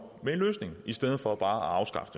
med en løsning i stedet for bare at afskaffe